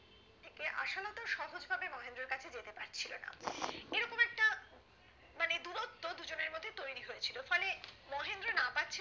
আশালতা সহজভাবে মহেন্দ্রর কাছে যেতে পারছিলো না এই রকম একটা মানে দূরত্ব দুজনের মধ্যে তৈরি হয়েছিলো ফলে মহেন্দ্র না পারছিলো